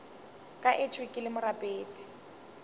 ka etšwe ke le morapedi